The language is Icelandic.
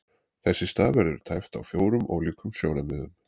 Þess í stað verður tæpt á fjórum ólíkum sjónarmiðum.